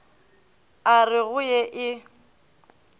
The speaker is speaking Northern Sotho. a re go ye e